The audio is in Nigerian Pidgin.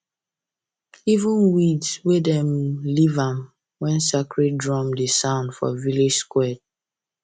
even weeds dem leave am when sacred drum dey sound for village square